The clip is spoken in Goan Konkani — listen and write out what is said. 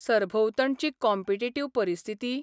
सरभोंवतणची कॉम्पिटिटिव्ह परिस्थिती?